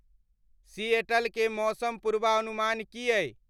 Seattle के मौसम पूर्वानुमान की आईं